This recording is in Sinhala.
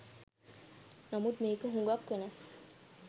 නමුත් මේක හුගක් වෙනස්